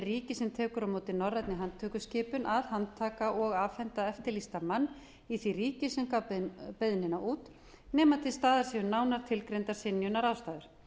ríki sem tekur á móti norrænni handtökuskipun að handtaka og afhenda eftirlýstan mann í því ríki sem gaf beiðnina út nema til staðar séu nánar tilgreindar synjunarástæður